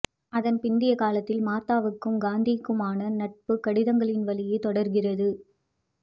அதன் பிந்திய காலத்தில் மார்த்தாவிற்கும் காந்திக்குமான நட்பு கடிதங்களின் வழியே தொடர்கிறது